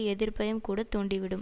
எதிர்ப்பையும் கூட தூண்டிவிடும்